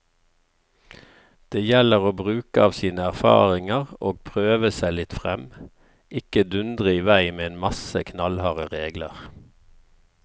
Det gjelder å bruke av sine erfaringer og prøve seg litt frem, ikke dundre i vei med en masse knallharde regler.